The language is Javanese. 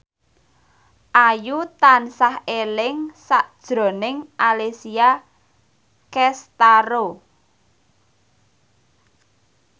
Ayu tansah eling sakjroning Alessia Cestaro